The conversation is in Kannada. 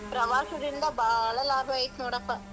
ಪ್ರವಾಸದಿಂದ ಬಾಳಾ ಲಾಭ ಐತ್ ನೋಡಪ್ಪ.